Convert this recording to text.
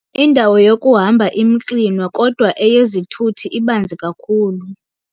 Indawo yokuhamba imxinwa kodwa eyezithuthi ibanzi kakhulu.